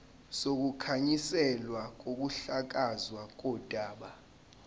sokukhanselwa kokuhlakazwa kodaba